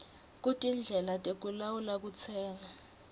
kutindlela tekulawula kutsenga